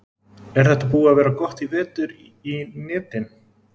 Er þetta búið að vera gott í vetur í netin?